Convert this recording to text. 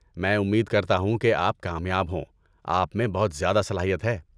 میں امید کرتا ہوں کہ آپ کامیاب ہوں، آپ میں بہت زیادہ صلاحیت ہے۔